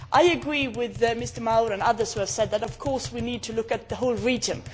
I agree with Mr Mauro and others who said that of course, we need to look at the whole region.